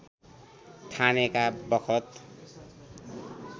ठानेका बखत